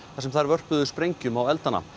þar sem þær vörpuðu sprengjum á eldana